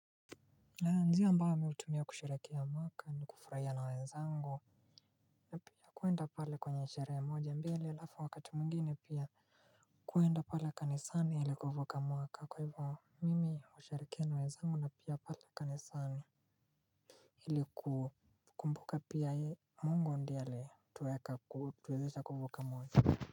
Njia ambayo mi hutumia kusherekea mwaka ni kufurahia na wezangu. Na pia kwenda pale kwenye sherehe moja mbili alafu wakati mwingini pia kuenda pale kanisani ili kuvuka mwaka kwa hivyo mimi usherekea na wenzangu na pia pale kanisani ili kukumbuka pia mungu ndiye aliyetuweka ku tuweza kuvuka mwaka.